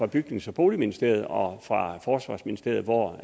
bygnings og boligministeriet og fra forsvarsministeriet hvor